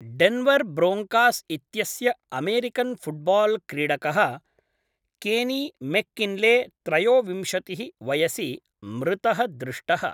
Denver Broncos इत्यस्य American football क्रीडकः Kenny McKinley त्रयोविंशतिः वयसि मृतः दृष्टः।